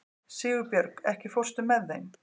Sigurbjörg, ekki fórstu með þeim?